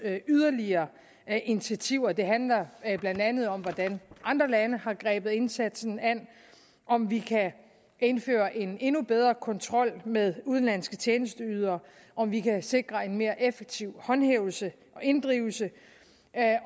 yderligere initiativer det handler blandt andet om hvordan andre lande har grebet indsatsen an om vi kan indføre en endnu bedre kontrol med udenlandske tjenesteydere om vi kan sikre en mere effektiv håndhævelse og inddrivelse